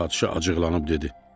Padşah acıqlanıb dedi: